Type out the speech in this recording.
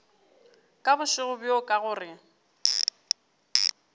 ka bošego bjo ka gore